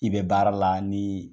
I bɛ baara la ni